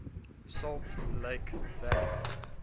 salt lake valley